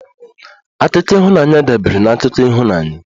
Akụkọ ịhụnanya dabeere na akụkọ ịhụnanya